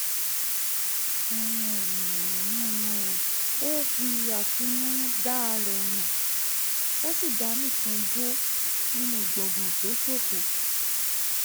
ó fi àtinúdá rẹ̀ hàn ó sì dá nìkan jó nínú gbàngàn tó ṣófo